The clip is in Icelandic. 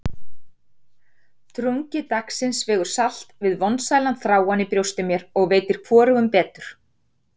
Drungi dagsins vegur salt við vonsælan þráann í brjósti mér, og veitir hvorugum betur.